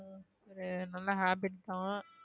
அது நல்ல habit தான்